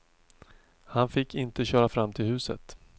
Han fick inte köra fram till huset.